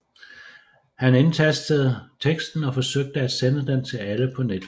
Han indtastede teksten og forsøgte at sende den til alle på netværket